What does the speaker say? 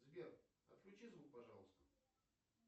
сбер отключи звук пожалуйста